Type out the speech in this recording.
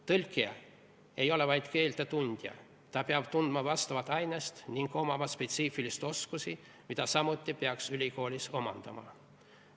Tõlkija ei ole vaid keelte tundja, ta peab tundma vastavat ainest ning omama spetsiifilisi oskusi, mida samuti peaks ülikoolis omandama.